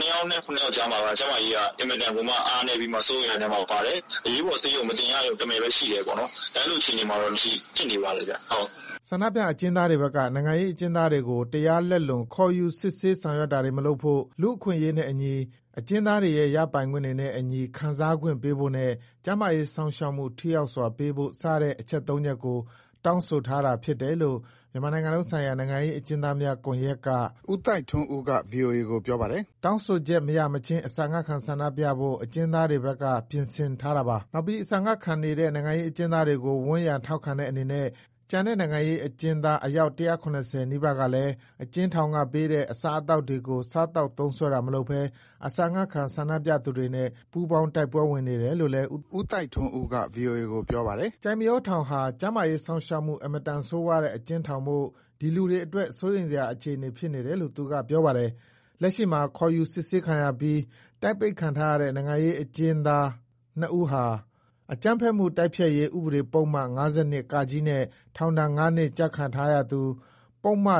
နဲ့ ၇ယောက်မှာ ကျန်းမာရေးက အင်မတန်ကိုမှ အားနည်းနေတယ်။ စိုးရိမ်ရတဲ့အခြေအနေ ဖြစ်နေတယ်။ အရေးပေါ်ဆေးရုံမတင်ရရုံတမယ်ဘဲ ရှိတယ်။ အဲလိုအခြေအနေတွေ ဖြစ်နေပါတယ်။” ဆန္ဒပြအကျဉ်းသားတွေဘက်က နိုင်ငံရေးအကျဉ်းသားတွေကို တရားလက်လွန် ခေါ်ယူစစ်ဆေးဆောင်ရွက်တာတွေ မလုပ်ဖို့ ၊ လူ့အခွင့်အရေးနဲ့အညီ၊ အကျဉ်းသားတွေရဲ့ ရပိုင်ခွင့်တွေနဲ့အညီ ခံစားခွင့်ပေးဖို့နဲ့ ကျန်းမာရေးစောင့်ရှောက်မှု ထိရောက်စွာပေးဖို့ စတဲ့ အချက် ၃ချက်ကို တောင်းဆိုထားတာဖြစ်တယ်လို့ မြန်မာနိုင်ငံလုံးဆိုင်ရာ နိုင်ငံရေးအကျဉ်းသားများ ကွန်ရက် က ဦးသိုက်ထွန်းဦးက ဗွီအိုအေကို ပြောပြပါတယ်။ တောင်းဆိုချက်မရမချင်း အစာငတ်ခံဆန္ဒပြဖို့ အကျဉ်းသားတွေဘက်က ပြင်ဆင်နေတာပါ။ နောက်ပြီး အစာငတ်ခံနေတဲ့ နိုင်ငံရေးအကျဉ်းသားတွေကို ဝန်းရံထောက်ခံတဲ့အနေနဲ့ ကျန်တဲ့နိုင်ငံရေးအကျဉ်းသားအယောက် ၁၇၀ နီးပါးကလည်း အကျဉ်းထောင်ကပေးတဲ့ အစားအသောက်တွေကို စားသောက် သုံးစွဲတာမလုပ်ဘဲ အစာငတ်ခံဆန္ဒပြသူတွေနဲ့ ပူးပေါင်း တိုက်ပွဲဝင်နေတယ်လို့ ဦးသိုက်ထွန်းဦးကပြောပါတယ်။ ကျိုက်မရောထောင်ဟာ ကျန်းမာရေးစောင့်ရှောက်မှု အင်မတန်ဆိုးဝါးတဲ့ အကျဉ်းထောင်မို့ ဒီလူတွေအတွက် စိုးရိမ်စရာအခြေအနေ ဖြစ်နေတယ်လို့ သူက ပြောပါတယ်။ လက်ရှိမှာ ခေါ်ယူစစ်ဆေးခံရပြီး တိုက်ပိတ်ခံထားရတဲ့ နိုင်ငံရေး အကျဥ်းသားနှစ်ဦးဟာ အကြမ်းဖက်မှု တိုက်ဖျက်ရေး ဥပဒေပုဒ်မ - နဲ့ ထောင်ဒဏ်ငါးနှစ် ကျခံထားရသူ၊ ပုဒ်မ ၊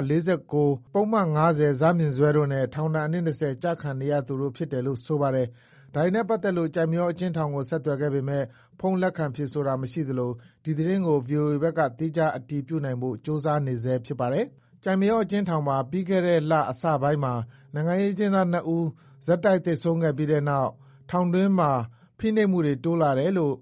ပုဒ်မ တို့နဲ့ ထောင်ဒဏ် ၂၀ နှစ် ကျခံနေရသူတို့ ဖြစ်တယ်လို့ ဆိုပါတယ်။ ဒါတွေနဲ့ပတ်သတ်လို့ ကျိုက်မရောအကျဉ်းထောင်ကို ဆက်သွယ်ခဲ့ပေမယ့် ဖုန်းလက်ခံဖြေဆိုတာ မရှိလို့ ဒီသတင်းကို ဗွီအိုအေဘက်က သီးခြား အတည်ပြုနိုင်ဖို့ ကြိုးစားဆဲ ဖြစ်ပါတယ်။ ကျိုက်မရောထောင်မှာ ပြီးခဲ့တဲ့ လအစပိုင်းမှာ နိုင်ငံရေးအကျဉ်းသား ၂ဦးဆက်တိုက် သေဆုံးခဲ့ပြီးတဲ့နောက်ပိုင်း ထောင်တွင်းမှာ ဖိနှိပ်မှုတွေ တိုးလာတယ်လို့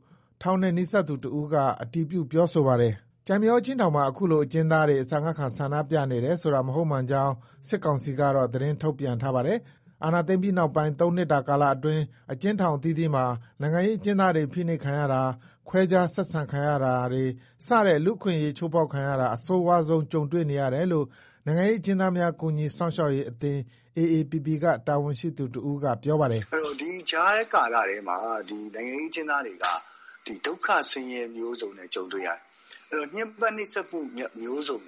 ထောင်နဲ့နီးစပ်သူတဦးက အတည်ပြု ပြောဆိုပါတယ်။ ကျိုက်မရောအကျဉ်းထောင်မှာ အခုလို အကျဉ်းသားတွေ အစာငတ်ခံ ဆန္ဒပြနေတယ်ဆိုတာ မဟုတ်မှန်ကြောင်း စစ်ကောင်စီကတော့ သတင်းထုတ်ပြန်ထားပါတယ်။ အာဏာသိမ်းပြီးနောက်ပိုင်း ၃နှစ်တာကာလအတွင်း အကျဉ်းထောင်အသီးသီးမှာ နိုင်ငံရေးအကျဉ်းသားတွေ ဖိနှိပ်ခံရတာ၊ ခွဲခြား ဆက်ဆံခံရတာတွေ စတဲ့ လူ့အခွင့်အရေး ချိုးဖောက်ခံရတာ အဆိုးဝါးဆုံး ကြုံတွေ့နေရတယ်လို့ နိုင်ငံရေးအကျဥ်းသားများ ကူညီစောင့်ရှောက်ရေးအသင်း က တာဝန်ရှိသူတဦးက ပြောပါတယ်။ “ဒီကာလမှာ နိုင်ငံရေးအကျဉ်းသားတွေ ဒုက္ခဆင်းရဲမျိုးစုံ ကြုံရတယ်။ ညှင်းပန်းနှိပ်စက်မှုမျိုးစုံ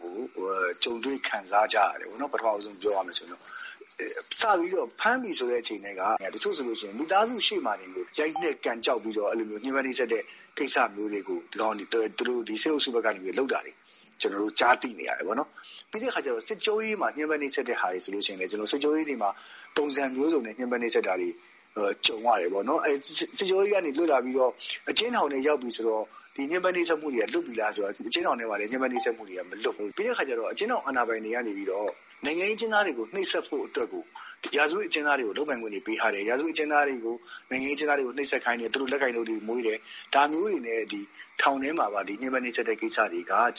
ကြုံရတယ်။ စဖမ်းချိန်ထဲက တချို့ဆို မိသားစုရှေ့မှာတင် ရိုက်နှက် ကန်ကျောက် ညှင်းပန်းနှိပ်စက်တာ ကြုံရတယ်။ ပြီးတော့လည်း စစ်ကြောရေးတွေမှာ ပုံစံမျိုးစုံနဲ့ နှိပ်စက်တာ ကြုံရတယ်။ အကျဉ်းထောင်ထဲရောက်ပြီ ဆိုပြန်တော့လည်း ဒီညှင်းပန်းနှိပ်စက်တာ လွတ်လားဆိုတော့ အကျဉ်းထောင်ထဲမှာလဲ မလွတ်ဘူး။ နောက် အကျဉ်းထောင် အာဏာပိုင်တွေကနေပြီးတော့ နိုင်ငံရေးအကျဉ်းသားတွေကို နှိပ်စက်ဖို့အတွက်ကို ရာဇဝတ်အကျဉ်းသားတွေကို လုပ်ပိုင်ခွင့်တွေပေးတယ်။ ရာဇဝတ်အကျဉ်းသားတွေကို နိုင်ငံရေးအကျဉ်းသားတွေကို နှိပ်စက်ခိုင်းတယ်၊ လက်ကိုင်ဒုတ်မွေးတယ်။ ဒါမျိုးတွေ ထောင်ထဲမှာ ကြုံတွေ့နေရတာကို ကြားသိနေရတယ်။”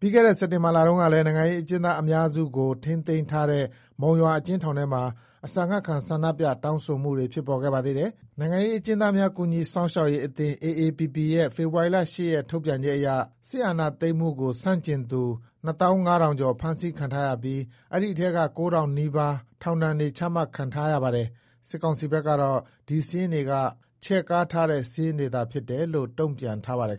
ပြီးခဲ့တဲ့နှစ် စက်တင်ဘာလတုန်းကလည်း နိုင်ငံရေးအကျဉ်းသားအများစုကို ထိန်းသိမ်းထားတဲ့ မုံရွာအကျဉ်းထောင်ထဲမှာ အစာငတ်ခံဆန္ဒပြ တောင်းဆိုမှု ဖြစ်ပေါ်ခဲ့ပါသေးတယ်။ နိုင်ငံရေးအကျဥ်းသားများ ကူညီစောင့်ရှောက်ရေးအသင်း ရဲ့ ဖေဖော်ဝါရီ ၈ ရက် ထုတ်ပြန်ချက်အရ စစ်တပ်အာဏာသိမ်းမှုကို ဆန့်ကျင်သူ ၂၅,၀၀၀ကျော် ဖမ်းဆီးခံထားရပြီး အဲဒီထဲက ၉,၀၀၀နီးပါး ထောင်ဒဏ်တွေ ချမှတ် ခံထားရပါတယ်။ စစ်ကောင်စီဘက်ကတော့ ဒီစာရင်းတွေက ချဲ့ကားထားတဲ့ စာရင်းသာဖြစ်တယ်လို့ ပြန်လည် တုံ့ပြန်ထားပါတယ်